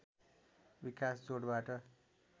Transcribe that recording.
विकास जोडबाट